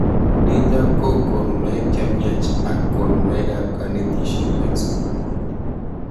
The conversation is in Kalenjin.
Nitok ko konunoik chemyach ak konunoik ab kanetishet eng sukul.